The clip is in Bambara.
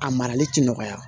A marali ti nɔgɔya